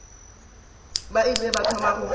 ba ile ba thoma go